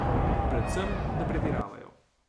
Predvsem, da pretiravajo.